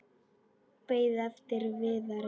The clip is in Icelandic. Beið eftir Viðari.